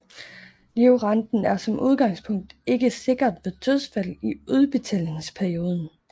Livrenten er som udgangspunkt ikke sikret ved dødsfald i udbetalingsperioden